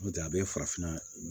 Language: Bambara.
N'o tɛ a bɛ farafinna